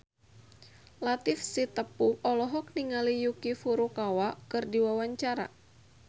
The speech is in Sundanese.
Latief Sitepu olohok ningali Yuki Furukawa keur diwawancara